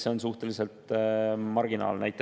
See on suhteliselt marginaalne.